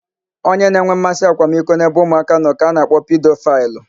Onye na-enwe mmasị akwamiko n'ebe ụmụaka nọ ka a na-akpọ pidofaịlụ.